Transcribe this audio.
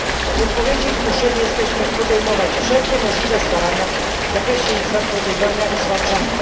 W odpowiedzi zmuszeni jesteśmy podejmować wszelkie możliwe starania w zakresie zapobiegania im i ich zwalczania.